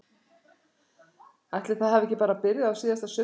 Ætli það hafi ekki bara byrjað á síðasta sumri?